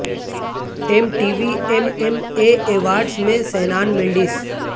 M T V M M A awards میں Shawn Mundus